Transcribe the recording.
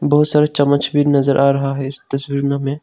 बहुत सारे चम्मच भी नजर आ रहा है इस तस्वीर में हमें।